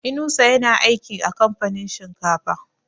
Inusa ya na aikin a kamfanin shinkafa